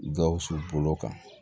Gawusu bolo kan